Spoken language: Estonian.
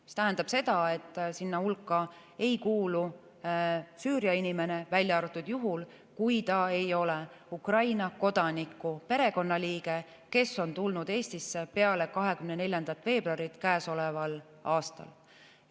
See tähendab seda, et sinna hulka ei kuulu Süüria inimene, välja arvatud juhul, kui ta Ukraina kodaniku perekonnaliige, kes on tulnud Eestisse peale 24. veebruari käesoleval aastal.